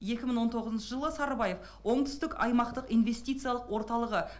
екі мың он тоғызыншы жылы сарыбаев оңтүстік аймақтық инвестициялық орталығы